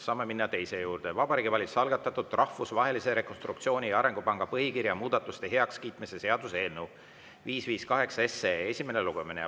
Saame minna teise päevakorrapunkti juurde: Vabariigi Valitsuse algatatud Rahvusvahelise Rekonstruktsiooni‑ ja Arengupanga põhikirja muudatuste heakskiitmise seaduse eelnõu 558 esimene lugemine.